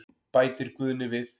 Bætir Guðni við.